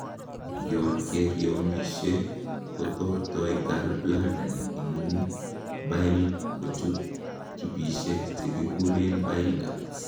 yonkeriomishe, kotortoi gallbladder ingung bile kochut tubisiek chekikuren bile ducts